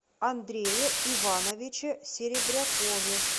андрее ивановиче серебрякове